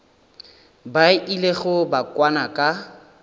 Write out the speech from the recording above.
ba ilego ba kwana ka